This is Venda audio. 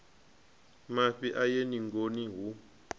mafhi a ye ningoni hu